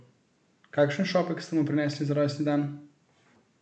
Kakšen šopek ste mu prinesli za rojstni dan?